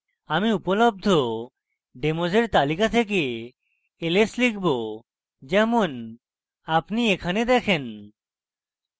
আমি উপলব্ধ demos তালিকা দেখতে ls লিখব যেমন আপনি এখানে দেখেন